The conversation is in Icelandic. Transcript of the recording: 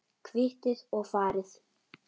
Kvittið og farið.